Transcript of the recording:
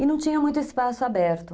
E não tinha muito espaço aberto.